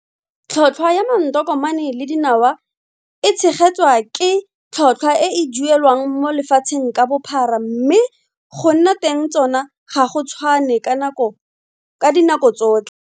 Tlhotlhwa ya matonkomane le dinawa e tshegetswa ke tlholthwa e e duelwang mo lefatsheng ka bophara mme go nna teng tsona ga go tshwane ka dinako tsotlhe.